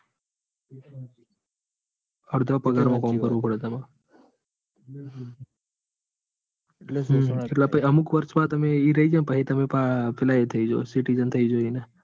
અડધા પગાર માં કામ કરવું પડે તમાર. હમ હમ એટલે સુ તમે અમુક વર્ષ તમે ઈ રાય જો પછી તમે પેલા એ થઇ જો citizen થઇ જો એના.